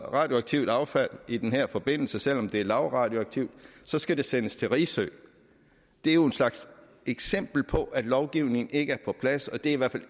radioaktivt affald i den her forbindelse selv om det er lavradioaktivt så skal det sendes til risø det er jo en slags eksempel på at lovgivningen ikke er på plads og det er